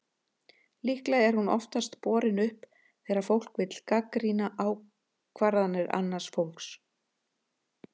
Líklega er hún oftast borin upp þegar fólk vill gagnrýna ákvarðanir annars fólks.